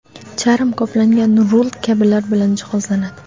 charm qoplangan rul kabilar bilan jihozlanadi.